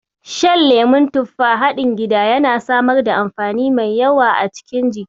Shan lemon tufa haɗin gida yana samar da amfani mai yawa a cikin jiki.